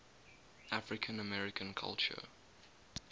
african american culture